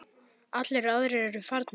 Allir aðrir eru farnir.